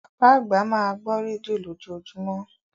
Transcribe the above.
Bàbá àgbà máa gbọ́ rédíò lójoojúmọ́.